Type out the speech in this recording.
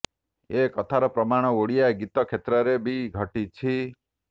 ଏ କଥାର ପ୍ରମାଣ ଓଡ଼ିଆ ଗୀତ କ୍ଷେତ୍ରରେ ବି ଘଟିଛି